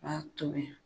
B'a tobi